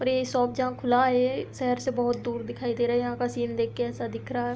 और ये शॉप जहाँ खुला है शहर से बहोत दूर दिखाई दे रहा है यहाँ का सीन देख के ऐसा दिख रहा है।